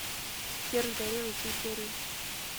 серж горелый все серии